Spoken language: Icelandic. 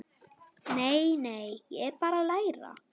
Nei, nei, ég er bara að læra.